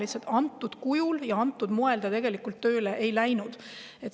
Lihtsalt antud kujul ja antud moel ta tegelikult tööle ei läinud.